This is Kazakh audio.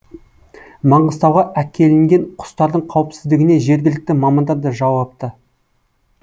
маңғыстауға әкелінген құстардың қауіпсіздігіне жергілікті мамандар да жауапты